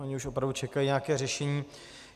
Oni už opravdu čekají nějaké řešení.